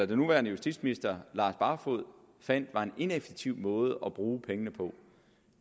den nuværende justitsminister fandt var en ineffektiv måde at bruge pengene på